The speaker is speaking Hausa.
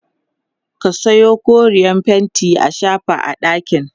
ka Sayo koreyar fainti a shafa a ɗakin